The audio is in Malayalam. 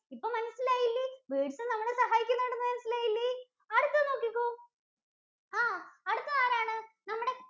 ഇപ്പൊ മനസ്സിലായില്ലേ birds ഉം നമ്മളെ സഹായിക്കുന്നുണ്ടെന്ന് മനസ്സിലായില്ലേ. അടുത്തെ നോക്കിക്കോ ആഹ് അടുത്തതാരാണ്? നമ്മുടെ